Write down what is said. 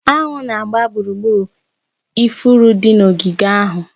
Anụ na-agba gburugburu ifuru dị n'ogige ahụ.